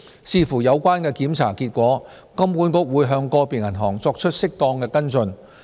視乎有關檢查結果，金管局會向個別銀行作出適當的跟進。